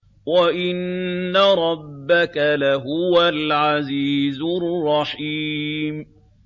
وَإِنَّ رَبَّكَ لَهُوَ الْعَزِيزُ الرَّحِيمُ